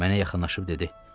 Mənə yaxınlaşıb dedi.